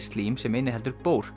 slím sem inniheldur